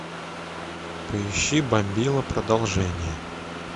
поищи бомбила продолжение